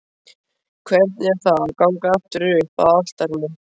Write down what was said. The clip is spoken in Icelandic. Hvernig er það að ganga aftur upp að altarinu?